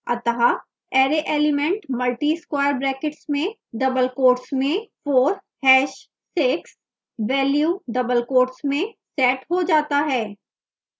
अतः array element multi square brackets में double quotes में 4 hash 6 value double quotes में set हो जाता है